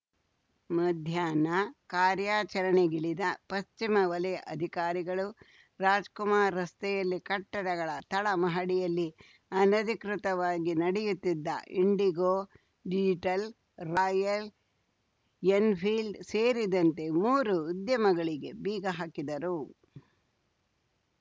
ಮಧ್ಯಾಹ್ನ ಕಾರ್ಯಾಚರಣೆಗಿಳಿದ ಪಶ್ಚಿಮ ವಲಯ ಅಧಿಕಾರಿಗಳು ರಾಜ್‌ಕುಮಾರ್‌ ರಸ್ತೆಯಲ್ಲಿ ಕಟ್ಟಡಗಳ ತಳ ಮಹಡಿಯಲ್ಲಿ ಅನಧಿಕೃತವಾಗಿ ನಡೆಯುತ್ತಿದ್ದ ಇಂಡಿಗೋ ಡಿಜಿಟಲ್‌ ರಾಯಲ್‌ ಎನ್‌ಫೀಲ್ಡ್‌ ಸೇರಿದಂತೆ ಮೂರು ಉದ್ದಿಮೆಗಳಿಗೆ ಬೀಗ ಹಾಕಿದರು